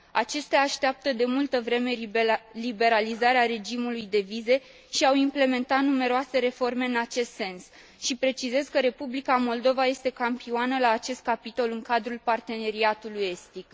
Acestea așteaptă de multă vreme liberalizarea regimului de vize și au implementat numeroase reforme în acest sens și precizez că Republica Moldova este campioană la acest capitol în cadrul Parteneriatului estic.